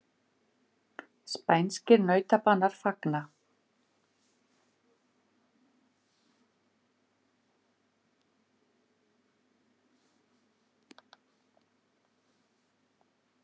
Spænskir nautabanar fagna